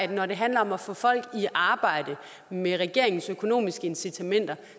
det når det handler om at få folk i arbejde med regeringens økonomiske incitamenter